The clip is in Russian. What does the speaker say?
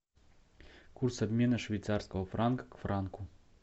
курс обмена швейцарского франка к франку